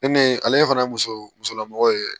E ne ale fana ye muso musolamɔgɔ ye